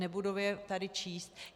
Nebudu je tady číst.